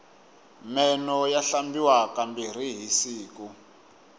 meno ya hlambiwa ka mbirhi hi siku